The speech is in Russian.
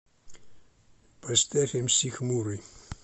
поставь мс хмурый